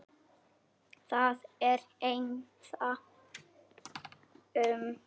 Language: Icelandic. Það er ennþá aumt.